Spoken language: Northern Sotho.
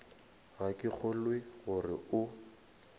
ga ke kgolwe gore o